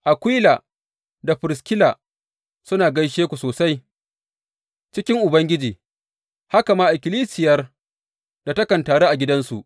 Akwila da Firiskila suna gaishe ku sosai cikin Ubangiji, haka ma ikkilisiyar da takan taru a gidansu.